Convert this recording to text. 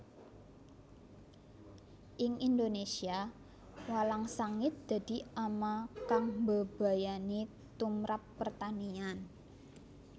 Ing Indonésia walang sangit dadi ama kang mbebayani tumprap pertanian